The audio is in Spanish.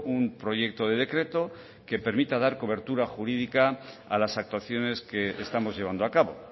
un proyecto de decreto que permita dar cobertura jurídica a las actuaciones que estamos llevando a cabo